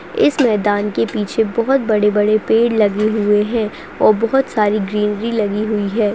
इस मैदान के पीछे बहूत बड़े-बड़े पेड़ लगी हुए हैं और बहुत सारी ग्रिल भी लगी हुई है।